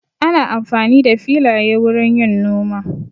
Ana amfani da filaye wurin yin noma.